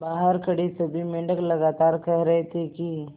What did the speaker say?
बहार खड़े सभी मेंढक लगातार कह रहे थे कि